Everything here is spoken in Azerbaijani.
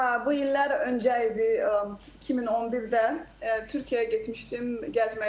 Aaa, bu illər öncə idi, 2011-də Türkiyəyə getmişdim gəzməyə.